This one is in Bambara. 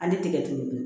Hali tigɛ ture dun